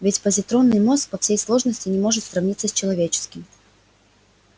ведь позитронный мозг по своей сложности не может сравниться с человеческим